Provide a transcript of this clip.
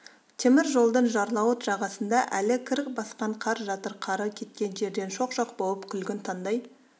темір жолдың жарлауыт жағасында әлі кір басқан қар жатыр қары кеткен жерден шоқ-шоқ болып күлгін таңдай